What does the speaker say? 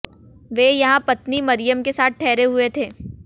वे यहां पत्नी मरियम के साथ ठहरे हुए थे